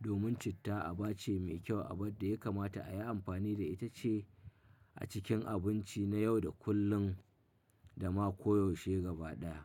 Domin citta aba ce mai kyau abin da ya kamata a yi amfani da ita ce a cikin abinci na yau da kullum da ma koyaushe gaba ɗaya.